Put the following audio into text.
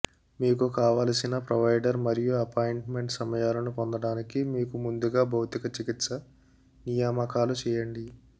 మీకు కావలసిన ప్రొవైడర్ మరియు అపాయింట్మెంట్ సమయాలను పొందడానికి మీకు ముందుగా భౌతిక చికిత్స నియామకాలు చేయండి